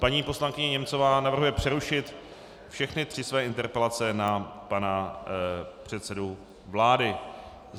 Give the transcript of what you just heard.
Paní poslankyně Němcová navrhuje přerušit všechny tři své interpelace na pana předsedu vlády.